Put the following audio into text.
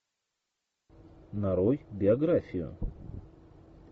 нарой биографию